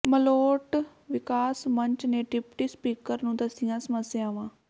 ਮਲੋਟ ਵਿਕਾਸ ਮੰਚ ਨੇ ਡਿਪਟੀ ਸਪੀਕਰ ਨੂੰ ਦੱਸੀਆਂ ਸਮੱਸਿਆਵਾਂ